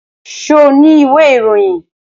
Ṣo ní ìwé ìròyìn?